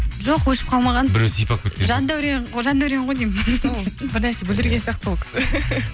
жоқ өшіп қалмаған біреу сипап кеткен жандәурен ғой деймін бір нәрсе бүлдірген сияқты сол кісі